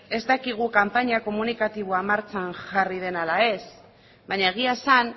ez dakigu kanpaina komunikatiboa martxan jarri den ala ez baina egia esan